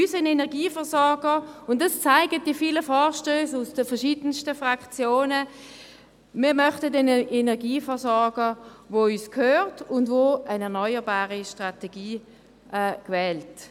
Unser Energieversorger – das zeigen die vielen Vorstösse aus den verschiedensten Fraktionen – soll uns gehören, und er soll eine erneuerbare Strategie wählen.